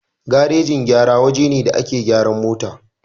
Garajin gyara waje ne da ake gyaran mota